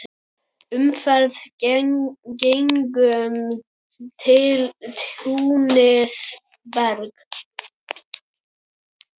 Umferð gegnum túnið ber.